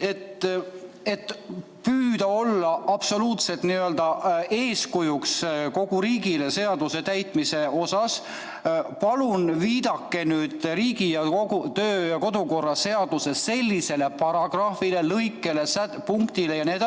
Et püüda olla absoluutselt eeskujuks kogu riigile seaduse täitmise osas, palun viidake Riigikogu kodu- ja töökorra seaduses sellisele paragrahvile, lõikele, punktile jne,